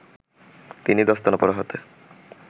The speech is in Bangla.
তিনি দস্তানা পরা হাতে